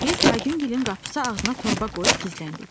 Biz Aygüngilin qapısı ağzına torba qoyub gizləndik.